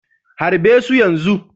Harbe su yanzu!